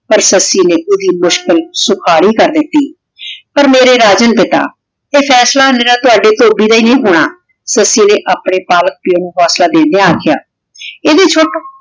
ਪਰ ਸੱਸੀ ਨੇ ਓੜੀ ਮੁਸ਼ਕਿਲ ਸੁਹਾਰੀ ਕਰ ਦਿਤੀ ਪਰ ਮੇਰੀ ਰਾਜੇ ਆਯ ਫੈਸਲਾ ਤੁਵਾਡੇ ਧੋਬੀ ਤੋਂ ਨਹੀ ਹੋਣਾ ਸੱਸੀ ਨੇ ਅਪਨੇ ਪਾਲਕ ਪਾਯੋ ਨੂ ਹੋਸਲਾ ਦੇਨ੍ਦ੍ਯਾਂ ਅਖ੍ਯਾ ਏਡੀ ਛੁਟ